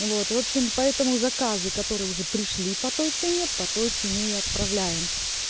вот в общем поэтому заказы которые уже пришли по той цене по той цене и отправляем